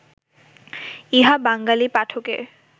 ইহা বাঙ্গালী পাঠকের